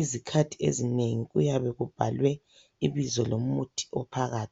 izikhathi ezinengi kuyabe kubhalwe ibizo lomuthi ophakathi.